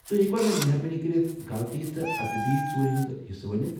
توہہِ ہیٚکوا مےٚ مہربٲنی کٔرتھ غلطی تہٕ ادبی ژوٗرِ ہندِ حصہٕ ؤنِتھ؟